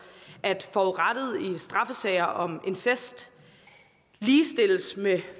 at forurettede i straffesager om incest ligestilles med